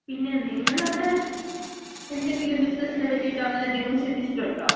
പിന്നെ, നിങ്ങളവിട എന്തെങ്കിലും ബിസിനസിനെ പറ്റിയിട്ടൊ അങ്ങനെന്തെങ്കിലും ചിന്തിച്ചിട്ടൊണ്ടോ?